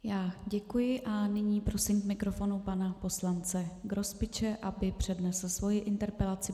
Já děkuji a nyní prosím k mikrofonu pana poslance Grospiče, aby přednesl svoji interpelaci.